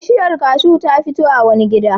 Bishiyar kashu ta fito a wani gida.